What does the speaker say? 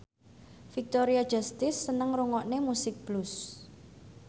Victoria Justice seneng ngrungokne musik blues